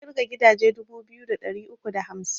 Na ƙirga gidaje dubu biyu da ɗari uku da hamsin